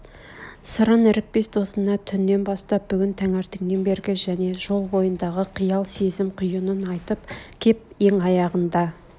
сырын ірікпес досына түннен бастап бүгін таңертеңнен бергі және жол бойындағы қиял сезім құйынын айтып кеп ең аяғында